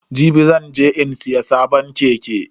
Jibi zan je in siya sabon keke.